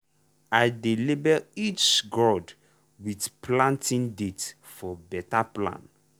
i dey label each gourd with planting date for better plan.